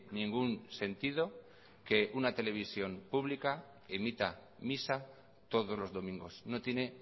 ningún sentido que una televisión pública emita misa todos los domingos no tiene